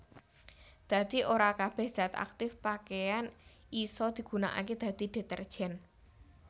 Dadi ora kabèh zat aktip pakeyan isa digunakaké dadi detergen